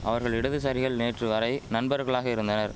அவர்கள் இடதுசாரிகள் நேற்று வரை நண்பர்களாக இருந்தனர்